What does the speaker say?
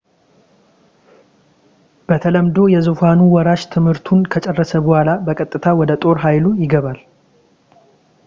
በተለምዶ የዙፋኑ ወራሽ ትምህርቱን ከጨረሰ በኋላ በቀጥታ ወደ ጦር ኃይሉ ይገባል